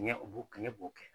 Kɛɲɛ o kɛɲɛ b'o kɛ.